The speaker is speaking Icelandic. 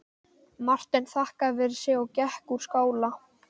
Marteinn þakkaði fyrir sig og gekk úr skála.